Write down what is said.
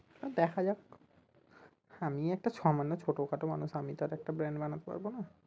দেখা যাক আমিই একটা সামান্য ছোট খাটো মানুষ আমি তো আর একটা brand বানাতে পারবো না